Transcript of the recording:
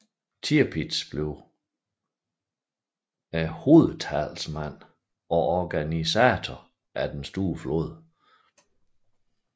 Tirpitz blev hovedtalsmanden og organisatoren af den store flåde